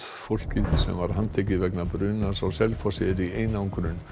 fólkið sem var handtekið vegna brunans á Selfossi er í einangrun